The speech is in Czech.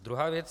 Druhá věc.